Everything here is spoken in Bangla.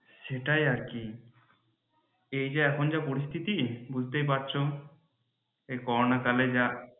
সেটাই আর কি এই যে এখন যা পরিস্থিতি বুজতেই পারছো এই করোনা কালে যা